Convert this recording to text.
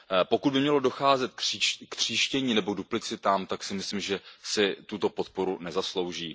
Pokud by mělo docházet k tříštění nebo duplicitám, tak si myslím, že si tuto podporu nezaslouží.